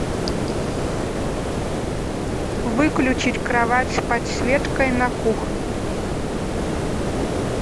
выключить кровать с подсветкой на кухне